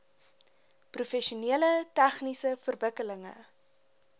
professioneel tegniese verwikkelinge